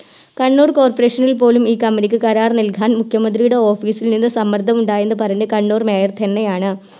Kannur Corporation നിൽ പോലും ഈ Company ക്ക് കരാറ് നല്കാൻ മുഖ്യമന്ത്രിയുടെ Office ൽ നിന്ന് സമ്മർദ്ദമുണ്ടായെന്ന് പറഞ്ഞ് കണ്ണൂർ Mayor തന്നെയാണ്